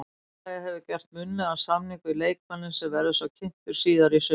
Félagið hefur gert munnlegan samning við leikmanninn sem verður svo kynntur síðar í sumar.